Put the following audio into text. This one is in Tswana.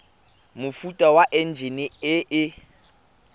mofuta wa enjine e e